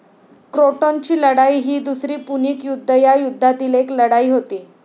क्रोटॉनची लढाई ही दुसरी पुणिक युद्ध या युद्धातील एक लढाई होती.